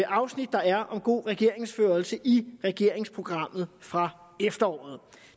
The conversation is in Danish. afsnit der er om god regeringsførelse i regeringsprogrammet fra efteråret